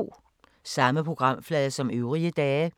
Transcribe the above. Samme programflade som øvrige dage